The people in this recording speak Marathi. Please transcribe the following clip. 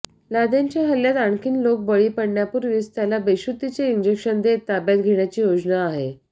लादेनच्या हल्ल्यात आणखीन लोक बळी पडण्यापूर्वीच त्याला बेशुद्धीचे इंजेक्शन देत ताब्यात घेण्याची योजना आहे